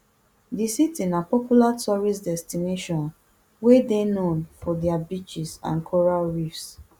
di city na popular tourist destination wey dey known for dia beaches and coral reefs